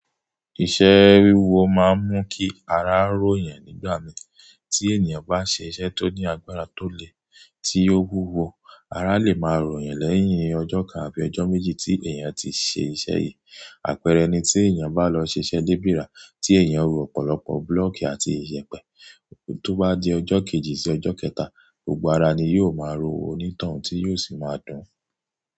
Iṣẹ́ wíwo máa ń mú kí ara ró yan nígbà mí. Tí ènìyàn bá ṣe iṣẹ́ tó ní agbára tó le, tí ó wúwo, ara lè máa rò yẹn lẹ́yìn ọjọ́ kan àbí ọjọ́ méjì tí èèyàn ti ṣe iṣẹ́ yìí. Àpẹẹrẹ ni tí èèyàn bá lọ ṣiṣẹ́ débírà tí èèyàn ro ọ̀pọ̀lọpọ̀ búlọ̀kì àti iyepe, tó bá di ọjọ́ kejì sí ọjọ́ kẹta, gbogbo ara ni yóò máa ro oní toun tí yóò sì máa dùn-ún.